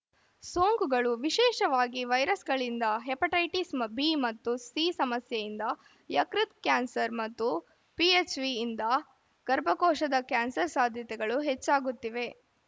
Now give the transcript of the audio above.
ಸೋಂಕುಗಳು ವಿಶೇಷವಾಗಿ ವೈರಸ್‌ಗಳಿಂದ hepatitis B ಮತ್ತು ಸಿ ಸಮಸ್ಯೆಯಿಂದ ಯಕೃತ್‌ ಕ್ಯಾನ್ಸರ್‌ ಮತ್ತು ಪಿಎಚ್‌ವಿಯಿಂದ ಗರ್ಭಕೋಶದ ಕ್ಯಾನ್ಸರ್‌ ಸಾಧ್ಯತೆಗಳು ಹೆಚ್ಚಾಗುತ್ತಿವೆ